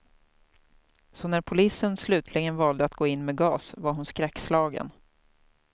Så när polisen slutligen valde att gå in med gas var hon skäckslagen.